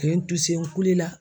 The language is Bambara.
U ye n kulela.